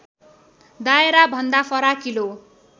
दायरा भन्दा फराकिलो